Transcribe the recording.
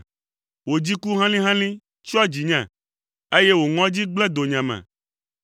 Wò dziku helĩhelĩ tsyɔ dzinye, eye wò ŋɔdzi gblẽ donyeme.